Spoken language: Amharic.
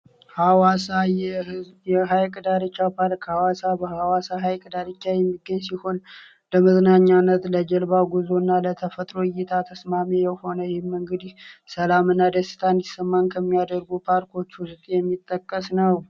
ሃዋሳ የሃይቅ ዳርቻው ፓልክ ሃዋሳ በሃዋሳ ሀይቅ ዳርቻ የሚገኝ ሲሆን ለመዝናኛነት ለጀልባ ጉዞ እና ለተፈጥሩ እይታ ተስማሜ የሆነ የሰህም እንግዲህ ሰላም እና ደስታ እንዲሰማን ከሚያደርጉ ፓርክዎቹ ውስጥ የሚጠቀስ ነው።